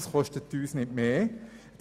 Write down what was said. Es wird uns also nicht mehr kosten.